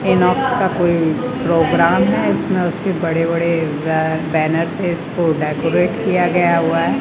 इनोक्स का कोई प्रोग्राम है इसमें उसके बड़े बड़े अ बैनर से इसको डेकोरेट किया गया हुआ है।